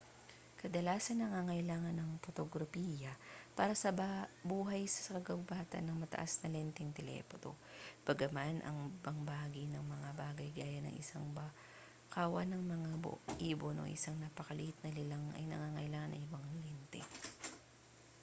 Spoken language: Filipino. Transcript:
kadalasang nangangailangan ang potograpiya para sa buhay sa kagubatan ng mataas na lenteng telephoto bagaman ang ibang mga bagay gaya ng isang kawan ng mga ibon o isang napakaliit na nilalang ay nangangailangan ng ibang mga lente